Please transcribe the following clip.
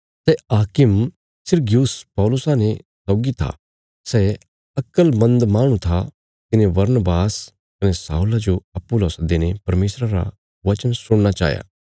सै हाकिम सिरगियुस पौलुसा ने सौगी था सै अक्लमन्द माहणु था तिने बरनबास कने शाऊला जो अप्पूँ ला सद्दीने परमेशरा रा वचन सुणना चाहया